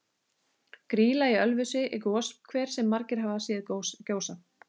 Grýla í Ölfusi er goshver sem margir hafa séð gjósa.